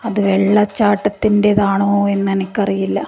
അത് വെള്ളച്ചാട്ടത്തിന്റേതാണോ എന്ന് എനക്ക് അറിയില്ല.